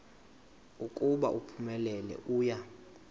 ukuba uphumelele uya